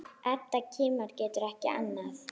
Edda kímir, getur ekki annað.